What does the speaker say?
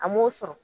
A m'o sɔrɔ